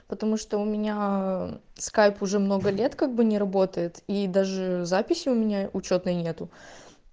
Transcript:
потому что у меня скайп уже много лет как бы не работает и даже записи у меня учётной нету